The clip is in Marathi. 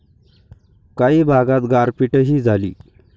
काही भागात गारपीटही झाली.